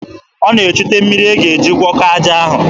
Ọ na-echute mmiri a ga-eji gwọkọọ aja ahụ.